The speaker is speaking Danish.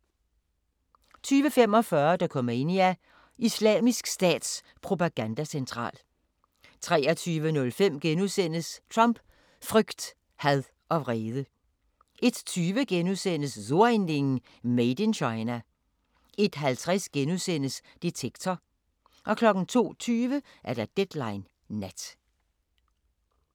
20:45: Dokumania: Islamisk Stats propagandacentral 23:05: Trump: frygt, had og vrede * 01:20: So ein Ding: Made in China * 01:50: Detektor * 02:20: Deadline Nat